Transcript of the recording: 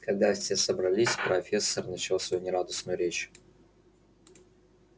когда все собрались профессор начал свою нерадостную речь